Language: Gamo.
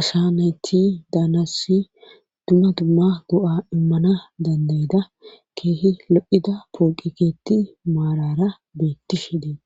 asha nayti daanassi duma dumma goa immana dandayida keehi loida pooqikeetti maarara beettishe deet.